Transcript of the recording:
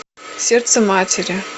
сердце матери